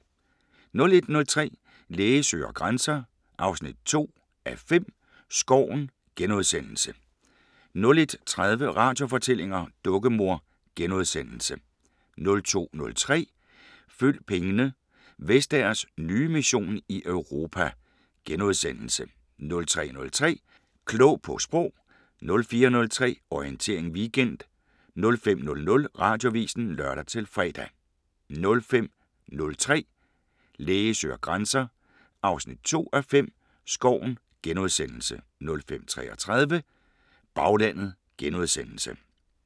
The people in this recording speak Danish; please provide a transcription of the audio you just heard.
01:03: Læge søger grænser 2:5 – Skoven * 01:30: Radiofortællinger: Dukkemor * 02:03: Følg pengene: Vestagers nye mission i Europa * 03:03: Klog på Sprog 04:03: Orientering Weekend 05:00: Radioavisen (lør-fre) 05:03: Læge søger grænser 2:5 – Skoven * 05:33: Baglandet *